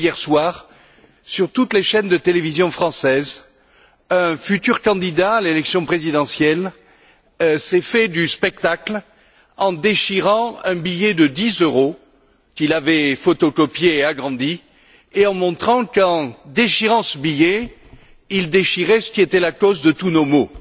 C'est que, hier soir, sur toutes les chaînes de télévision françaises, un futur candidat à l'élection présidentielle s'est donné en spectacle en déchirant un billet de dix euros qu'il avait photocopié et agrandi, et en montrant qu'en déchirant ce billet, il déchirait ce qui était la cause de tous nos maux.